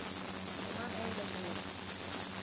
Ég man eiginlega ekki neitt.